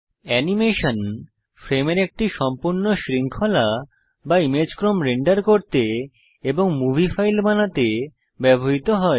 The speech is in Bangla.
অ্যানিমেশন ফ্রেমের একটি সম্পূর্ণ শৃঙ্খলা বা ইমেজ ক্রম রেন্ডার করতে এবং মুভি ফাইল বানাতে ব্যবহৃত হয়